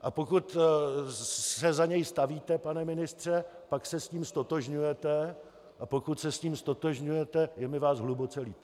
A pokud se za něj stavíte, pane ministře, pak se s ním ztotožňujete, a pokud se s tím ztotožňujete, je mi vás hluboce líto.